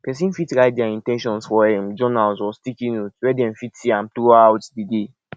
person fit write their in ten tions for um journal or sticky note where dem fit see am throughout di day